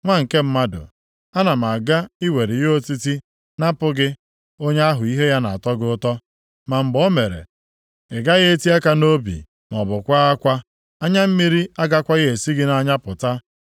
“Nwa nke mmadụ, ana m aga iwere ihe otiti napụ gị onye ahụ ihe ya na-atọ gị ụtọ. Ma mgbe o mere, ị gaghị eti aka nʼobi maọbụ kwaa akwa. Anya mmiri agakwaghị esi gị nʼanya pụta.